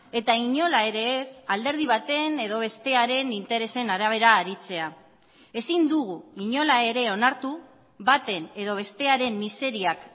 eta inola ere ez alderdi baten edo bestearen interesen arabera aritzea ezin dugu inola ere onartu baten edo bestearen miseriak